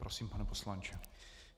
Prosím, pane poslanče.